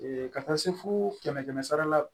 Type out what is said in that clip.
ka taa se fo kɛmɛ kɛmɛ sara la